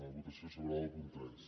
votació separada del punt tres